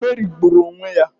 Meri gburu onwe ya.